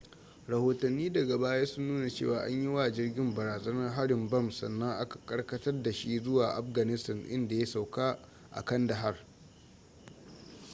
rahotanni daga baya sun nuna cewa an yi wa jirgin barazanar harin bam sannan aka karkatar da shi zuwa afghanistan inda ya sauka a kandahar